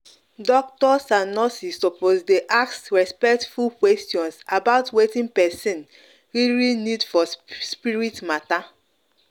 doctors and nurses suppose dey ask respectful questions about wetin person really need for spirit matter.